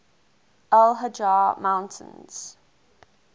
al hajar mountains